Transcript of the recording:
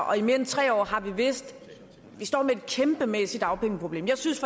og i mere end tre år har vi vidst at vi står med et kæmpemæssigt dagpengeproblem jeg synes